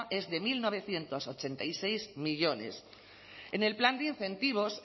es de mil novecientos ochenta y seis millónes en el plan de incentivos